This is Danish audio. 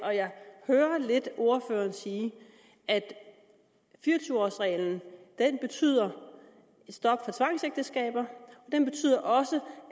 hører lidt ordføreren sige at fire og tyve års reglen betyder stop for tvangsægteskaber og også